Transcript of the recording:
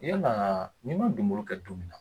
Yala ni ma donbolo kɛ don min na.